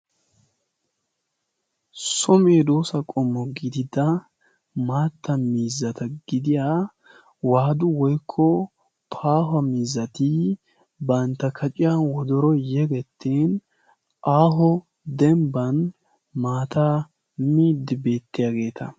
soo medoosa gidiya qommo gididda maattan mizzata gidiya waadu woikko paahuwa mizzatii bantta kaciya wodoro yegettin aaho dembban maatta miiddi beettiyaageeta